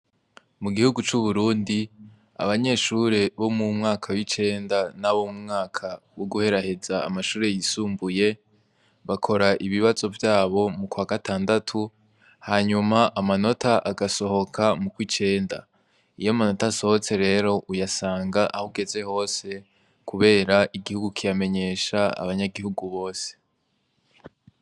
Mugihugu c'uburundi abanyeshure bo m'umwaka w'icenda n'abo m'umwaka wo guheraheza amashure yisumbuye bakora ibibazo vyabo m'ukwatandatu hanyuma amanota agasohoka m'ukwicenda. Iy'amanota asohotse rero uyasanga ahugeze hose kubera igihugu kiramenyesha abanyagihugu bose.